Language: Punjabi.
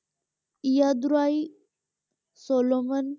ਇਯਾਦੁਰਾਈ ਸੋਲੋਮਨ